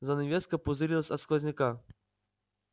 занавеска пузырилась от сквозняка